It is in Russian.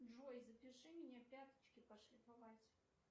джой запиши меня пяточки пошлифовать